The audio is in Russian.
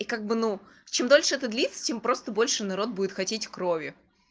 и как бы ну чем дольше это длится тем просто больше народ будет хотеть крови